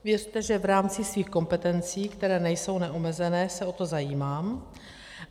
Věřte, že v rámci svých kompetencí, které nejsou neomezené, se o to zajímám.